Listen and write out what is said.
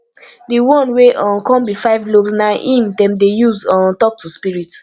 di one wey um kon bi five lobes na em dem dey use um tok to spirit